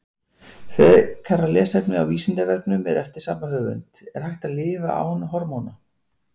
Frekara lesefni á Vísindavefnum eftir sama höfund: Er hægt að lifa án hormóna?